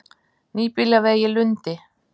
Nýbýlavegi Lundi